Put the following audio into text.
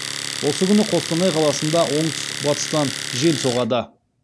осы күні қостанай қаласында оңтүстік батыстан жел соғады